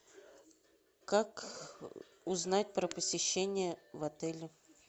как узнать про посещение в отеле